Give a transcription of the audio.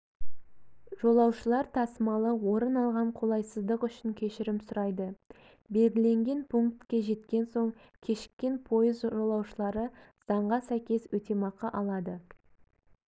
жолаушылар тасымалы орын алған қолайсыздық үшін кешірім сұрайды белгіленген пунктке жеткен соң кешіккен пойыз жолаушылары заңға сәйкес өтемақы алады